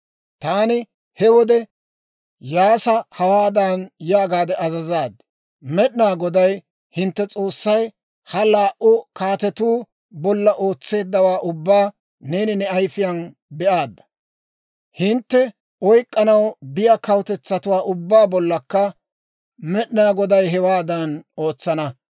«Taani he wode Iyyaasa hawaadan yaagaade azazaad; ‹Med'inaa Goday, hintte S'oossay, ha laa"u kaatetuu bolla ootseeddawaa ubbaa neeni ne ayifiyaan be'aadda; hintte oyk'k'anaw biyaa kawutetsatuwaa ubbaa bollakka Med'inaa Goday hewaadan ootsana.